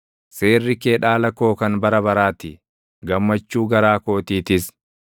Seerri kee dhaala koo kan bara baraa ti; gammachuu garaa kootiitis.